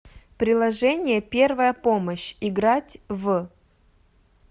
приложение первая помощь играть в